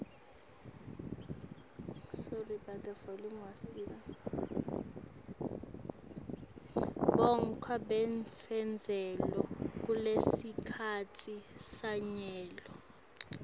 bumgkwa bekufunzela kulesikhatsi sanyalo